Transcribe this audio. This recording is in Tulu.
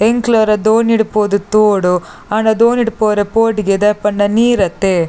ಎಂಕ್ಲ ವರ ದೋಣಿಡ್ ಪೋದು ತೂವೋಡು ಆಂಡ ದೋಣಿಡ್ ಪೋರೆಗ್ ಪೋಡಿಗೆ ದಾಯೆ ಪಂಡ ನೀರ್ ಅತೆ.